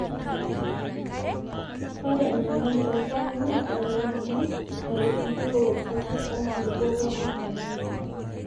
Ore enyamali oo irpaek naa ewongan natum enkirowuaj sapuk oonkulupuok wenkop natoyio.